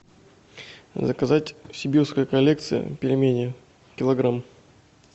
заказать сибирская коллекция пельмени килограмм